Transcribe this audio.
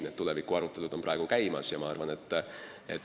Need tulevikuarutelud praegu käivad.